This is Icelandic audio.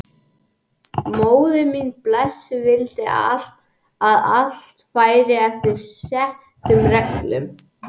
Móðir mín blessuð vildi að allt færi eftir settum reglum.